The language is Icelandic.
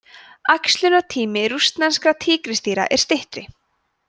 æxlunartími rússneskra tígrisdýra er styttri